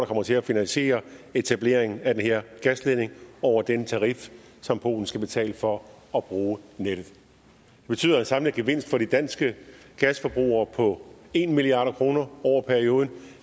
kommer til at finansiere etableringen af den her gasledning over den tarif som polen skal betale for at bruge nettet det betyder en samlet gevinst for de danske gasforbrugerne på en milliard kroner over perioden og